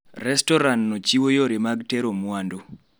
Restoranno chiwo yore mag tero mwandu